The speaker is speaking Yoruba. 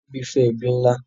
Tobi fẹ ẹbi nlá.